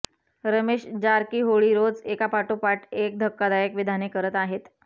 रमेश जारकीहोळी रोज एकापाठोपाठ एक धक्कादायक विधाने करत आहेत